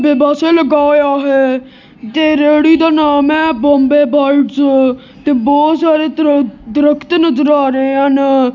Washbasin ਲੱਗਾ ਹੋਇਆ ਹੈ ਤੇ ਰੇਹੜੀ ਦਾ ਨਾਮ ਹੈ ਬੰਬੇ ਬਾਈਟਸ ਤੇ ਬਹੁਤ ਸਾਰੇ ਦਰਖਤ ਨਜ਼ਰ ਆ ਰਹੇ ਹਨ।